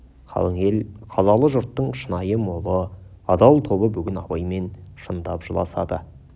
қалың ел қазалы жұрттың шынайы молы адал тобы бүгін абаймен шындап жыласады